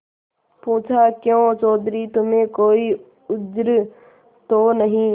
पूछाक्यों चौधरी तुम्हें कोई उज्र तो नहीं